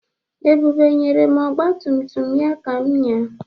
Ebube nyere m ọgba tum tum ya ka m ñyaa.